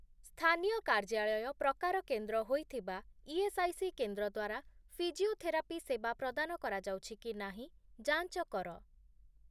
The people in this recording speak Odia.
ସ୍ଥାନୀୟ କାର୍ଯ୍ୟାଳୟ' ପ୍ରକାର କେନ୍ଦ୍ର ହୋଇଥିବା ଇଏସ୍ଆଇସି କେନ୍ଦ୍ର ଦ୍ୱାରା ଫିଜିଓଥେରାପି ସେବା ପ୍ରଦାନ କରାଯାଉଛି କି ନାହିଁ ଯାଞ୍ଚ କର ।